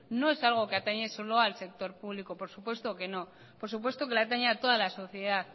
no es algo que atañe solo al sector público por supuesto que no por supuesto que le atañe a toda la sociedad